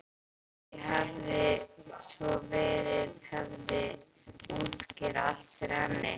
Því hefði svo verið hefði hann útskýrt allt fyrir henni.